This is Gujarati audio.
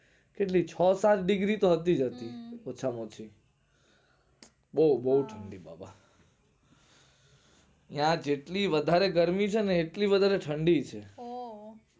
કેટલી છ સાત degree હતી જ હતી. ઓછા માં ઓછી. બોવ બોવ ઠણ્ડી બાબા ને આ જેટલી વધારે ગરમી છેને એટલી વધારે ઠંડી છે. ઓહ ઓહ